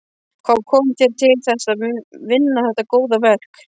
Hvað kom þér til þess að vinna þetta góða verk?